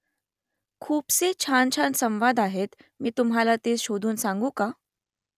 खूपसे छानछान संवाद आहेत मी तुम्हाला ते शोधून सांगू का ?